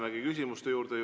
Lähemegi küsimuste juurde.